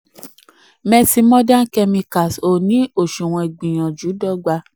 15. messe modern chemicals ò chemicals ò ní àsunwon ìgbìyànjú dọ́gba.